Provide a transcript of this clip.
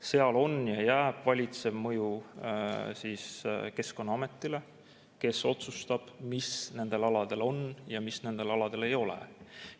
Seal on ja jääb valitsev mõju Keskkonnaametile, kes otsustab, mis nendel aladel on ja mis nendel aladel ei ole.